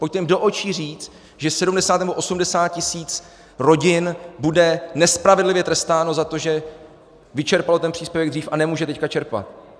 Pojďte jim do očí říct, že 70 nebo 80 tisíc rodin bude nespravedlivě trestáno za to, že vyčerpalo ten příspěvek dřív a nemůže teď čerpat.